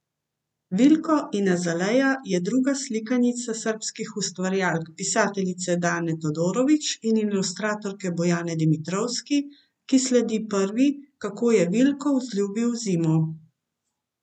Vilko in Azaleja je druga slikanica srbskih ustvarjalk pisateljice Dane Todorović in ilustratorke Bojane Dimitrovski, ki sledi prvi Kako je Vilko vzljubil zimo.